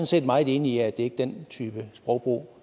set meget enig i at det ikke er den type sprogbrug